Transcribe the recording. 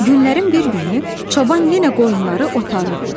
Günlərin bir günü çoban yenə qoyunları otarırdı.